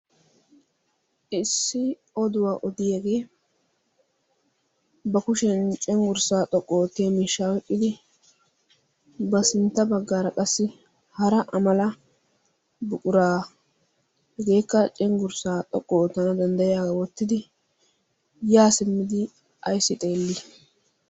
issi oduwaa odiyaegee ba kushin cinggurssaa xoqqu oo tea miishshaa weqqidi ba sintta baggaara qassi hara amala buquraa hegeekka cinggurssaa xoqqu tana danddayiyaaaa wottidi yaa simmidi aissi xeellii?